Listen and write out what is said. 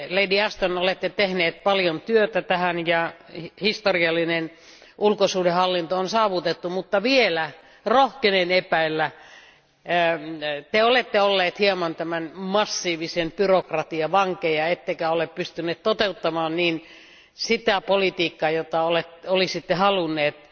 Te, lady Ashton, olette tehnyt paljon työtä tämän eteen ja historiallinen ulkosuhdehallinto on saavutettu, mutta rohkenen epäillä, että te olette olleet hieman tämän massiivisen byrokratian vankeja ettekä ole pystyneet toteuttamaan sitä politiikkaa, jota olisitte halunneet.